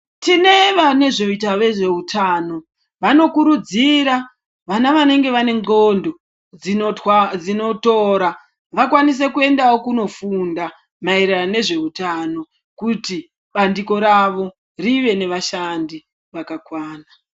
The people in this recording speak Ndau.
Tine vanezveita vezveutano vanokurudzira vana vanenge vane ndxondo dzinotwa dzinotora vakwanise kuendawo kundofunda maererano nezveutano kuti bandiko ravo rive nevashandi vakakwana.